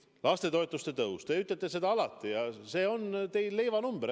Lastetoetuste tõus – te ütlete seda alati, see on teil leivanumber.